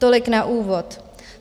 Tolik na úvod.